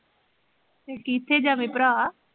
ਫਿਰ ਕਿਥੇ ਜਾਵੇ ਭਰਾ